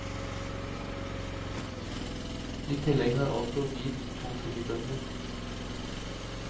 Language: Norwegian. I tillegg har altså hvit to fribønder.